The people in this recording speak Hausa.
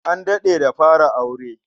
An daɗe da fara aure.